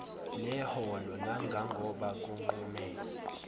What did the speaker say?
neholo nangangoba kunqume